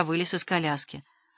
вылез из коляски